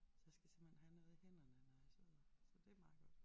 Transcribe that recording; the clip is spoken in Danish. Så jeg skal simpelthen have noget i hænderne når jeg sidder så det meget godt